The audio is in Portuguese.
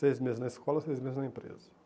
Seis meses na escola, seis meses na empresa.